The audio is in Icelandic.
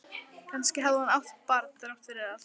Kannski hafði hún átt barn þrátt fyrir allt.